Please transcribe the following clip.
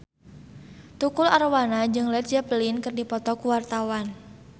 Tukul Arwana jeung Led Zeppelin keur dipoto ku wartawan